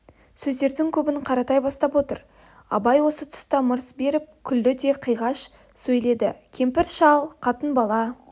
сөздің көбін қаратай бастап отыр абай осы тұста мырс беріп күлді де қиғаш сөйледі кемпір-шал қатын-бала